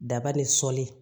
Daba ni sɔli